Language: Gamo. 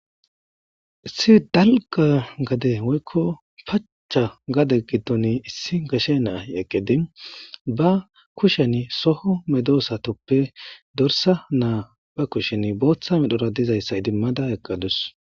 Issi dalga gade woykko pacha gade giddon issi gashe naahi eqqedi ba kushen soho medosatoppe dorsa naa ba kushen booththa medhora dizayssa idimmada eqqadus.